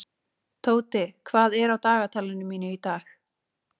Tóti, hvað er á dagatalinu mínu í dag?